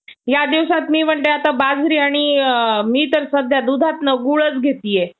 त्याचप्रमाणे शिंपल्यांचे मोठे ठिकाण राहत्या घराचे काही अवशेष तिथे सापडले यावरून लक्षात येते की त्या काळातील माणूस आपली उपजीविका